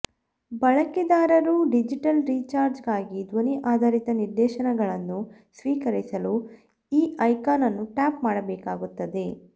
ಬಳಕೆದಾರರು digital recharge ಗಾಗಿ ಧ್ವನಿ ಆಧಾರಿತ ನಿರ್ದೇಶನಗಳನ್ನು ಸ್ವೀಕರಿಸಲು ಈ ಐಕಾನ್ ಅನ್ನು ಟ್ಯಾಪ್ ಮಾಡಬೇಕಾಗುತ್ತದೆ